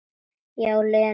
Já, Lenu.